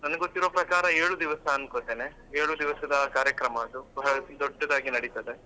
ನನಿಗ್ ಗೊತ್ತಿರುವ ಪ್ರಕಾರ ಏಳು ದಿವಸ ಅನ್ಕೋತೇನೆ ಏಳು ದಿವಸದ ಕಾರ್ಯಕ್ರಮ ಅದು ತುಂಬಾ ದೊಡ್ಡದಾಗಿ ನಡೀತದೆ.